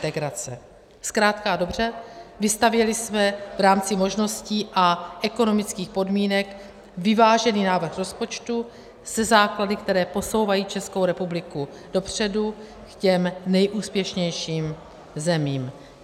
Zkrátka a dobře, vystavěli jsme v rámci možností a ekonomických podmínek vyvážený návrh rozpočtu se základy, které posouvají Českou republiku dopředu k těm nejúspěšnějším zemím.